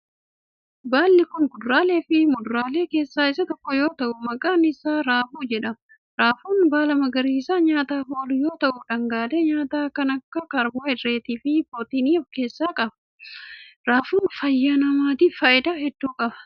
Baalli kun, kuduraalee fi muduraalee keessaa isa tokko yoo ta'u, maqaann isaa raafuu jedhama. Raafuun baala magariisa nyaaaf oolu yoo ta'u, dhangaalee nyaataa kan akka kaarboohayidireetii fi pirootinii of keessaa qaba. Raafuun, fayyaa namaatif faayidaa hedduu qaba.